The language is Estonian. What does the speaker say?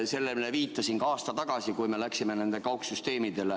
Sellele ma viitasin ka aasta tagasi, kui me kaugistungitele üle läksime.